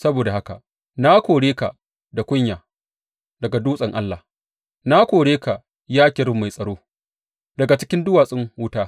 Saboda haka na kore ka da kunya daga dutsen Allah, na kore ka, ya kerub mai tsaro, daga cikin duwatsun wuta.